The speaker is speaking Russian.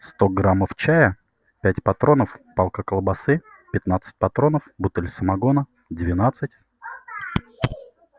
сто граммов чая пять патронов палка колбасы пятнадцать патронов бутыль самогона двадцать